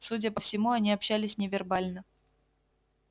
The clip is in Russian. судя по всему они общались невербально